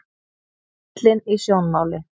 Ellin í sjónmáli.